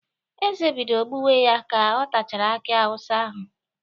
Eze bidoro gbuwe ya ka ọ tachara aki awụsa ahụ